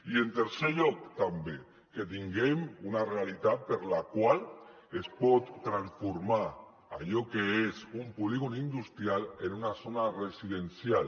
i en tercer lloc també que tinguem una realitat per la qual es pot transformar allò que és un polígon industrial en una zona residencial